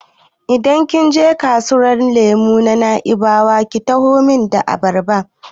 Idan kin je kasuwar ƴan lemo ta Na'ibawa ki taho min da abarba!